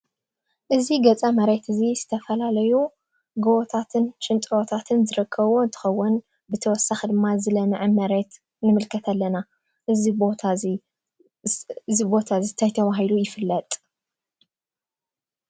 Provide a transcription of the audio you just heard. እዙ ገፃ መሬት እዙይ ዝተፈላለዮ ጐቦታትን ሽንጥሮታትን ዝረከቦ ትኸወን ብተወሳኺ ድማ ዝለምዐ መሬት ንምልከት ኣለና እዚ ቦታ እዚ ታይ ተባሂሉ ይፍለጥ?